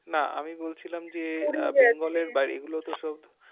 না আমি বলছিলাম যে আপনাদের বাড়ি গুলো তো সব